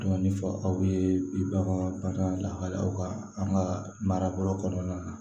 Dɔɔnin fɔ aw ye bi bakan lahalaw ka an ka marabolo kɔnɔna na